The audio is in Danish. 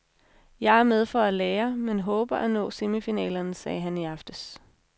Jeg er med for at lære, men håber at nå semifinalerne, sagde han i aftes.